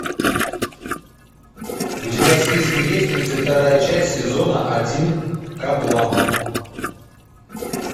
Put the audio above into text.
у тебя в списке есть тридцать вторая часть сезона один каблам